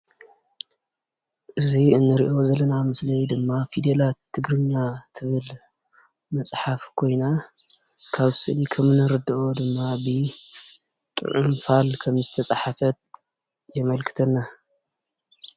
እዚ እንሪኦ ዘለና ምስሊ ድማ ፊደላት ትግርኛ ትብል መፅሓፍ ኮይና፤ ካብዚ ስእሊ ከምእንርደኦ ድማ ብጥዑም ፋል ከምዝተፀሓፈት የመልክተና፡፡